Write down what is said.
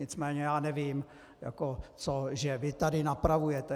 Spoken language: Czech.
Nicméně já nevím, co vy tady napravujete.